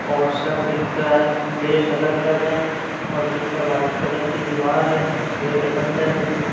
और सभी का ड्रेस अलग-अलग है और पीछे व्‍हाइट कलर की दीवार है गेट बंद है बीने हु।